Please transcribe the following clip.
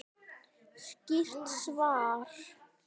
Skýrt svar!